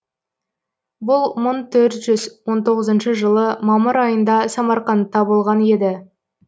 бұл мың төрт жүз он тоғызыншы жылы мамыр айында самарқандта болған еді